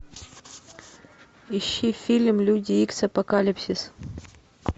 ищи фильм люди икс апокалипсис